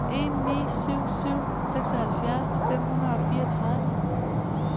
en ni syv syv seksoghalvfjerds fem hundrede og fireogtredive